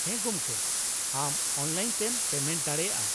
-ᱦᱮᱸ ᱜᱚᱢᱠᱮ , ᱟᱢ ᱚᱱᱞᱟᱭᱤᱱ ᱛᱮᱢ ᱯᱮᱢᱮᱱᱴ ᱫᱟᱲᱮᱭᱟᱜᱼᱟ ᱾